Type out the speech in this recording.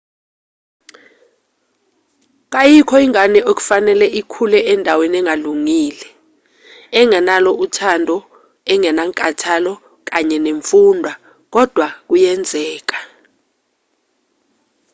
kayikho ingane okufanele ikhule endaweni engalungile engenalo uthando engenankathalo kanye nemfundo kodwa kuyenzeka